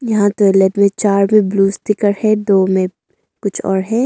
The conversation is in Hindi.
यहां तो चार में ब्लू स्टीकर है दो में कुछ और है।